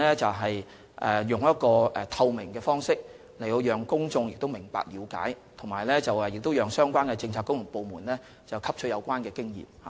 此外，我們的行事具透明度，讓公眾了解有關安排，亦讓相關的政策局和部門汲取有關經驗。